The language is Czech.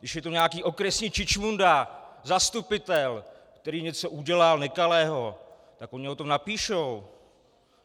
Když je to nějaký okresní čičmunda, zastupitel, který něco udělal nekalého, tak oni o tom napíšou.